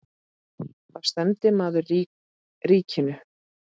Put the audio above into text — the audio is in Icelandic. Þá stefndi maðurinn ríkinu.